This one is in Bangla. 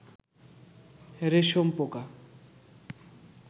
রেশম পোকা